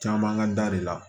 Caman ka da de la